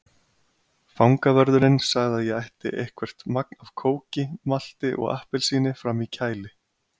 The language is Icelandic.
Fangavörðurinn sagði að ég ætti eitthvert magn af kóki, malti og appelsíni frammi í kæli.